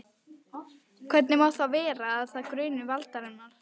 Hvernig má þá vera, að þá gruni Valdimar?